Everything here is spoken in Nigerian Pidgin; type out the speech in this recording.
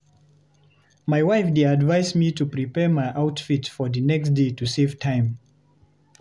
My wife dey advise me to prepare my outfit for the next day to save time.